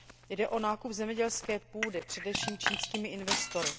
Jde o nákup zemědělské půdy především čínskými investory.